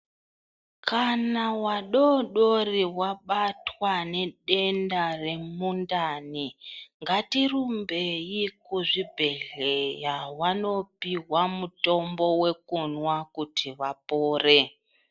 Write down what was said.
Kana vadodori vabatwa ngedenda remundani ngatirumbei kuzvibhedhlera vanopiwa mutombo wekunwa kuti vapore.